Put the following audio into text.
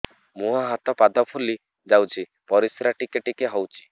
ମୁହଁ ହାତ ପାଦ ଫୁଲି ଯାଉଛି ପରିସ୍ରା ଟିକେ ଟିକେ ହଉଛି